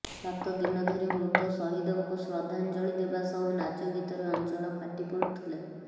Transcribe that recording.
ସାତଦିନ ଧରି ମୃତ ସହିଦଙ୍କୁ ଶ୍ରଦ୍ଧାଜ୍ଞଳି ଦେବା ସହ ନାଚଗୀତରେ ଅଞ୍ଚଳ ଫାଟି ପଡୁଥିଲା